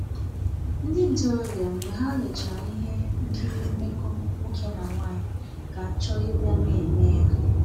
Ndị ntorobịa, mgbe ha lechara ihe nkiri mmekọ nwoke na nwanyị ga-achọ ịbịa na-eme ya.